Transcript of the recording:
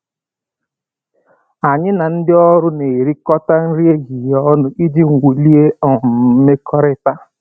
Anyị na ndị ọrụ na-erikọta nri ehihie ọnụ iji wulie um mmekọrịta